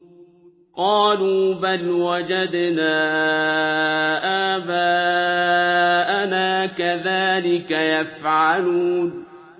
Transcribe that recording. قَالُوا بَلْ وَجَدْنَا آبَاءَنَا كَذَٰلِكَ يَفْعَلُونَ